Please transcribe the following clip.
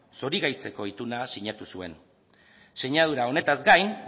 zorigaitzeko ituna sinatu zuen sinadura honetaz gain